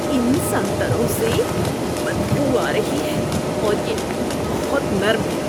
ان سنتروں سے بدبو آ رہی ہے اور یہ بہت نرم ہیں۔